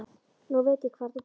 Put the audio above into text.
Nú veit ég hvar þú býrð.